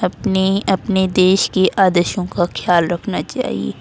अपने अपने देश के आदर्शों का खयाल रखना चाहिए।